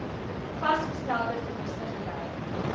vasgestelde verliese gely